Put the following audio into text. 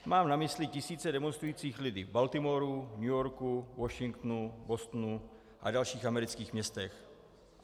Mám na mysli tisíce demonstrujících lidí v Baltimoru, New Yorku, Washingtonu, Bostonu a dalších amerických městech.